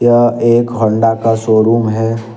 यह एक होंडा का शोरूम है।